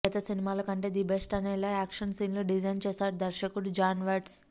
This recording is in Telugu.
గత సినిమాల కంటే ది బెస్ట్ అనేలా యాక్షన్ సీన్లు డిజైన్ చేశాడు దర్శకుడు జాన్ వాట్స్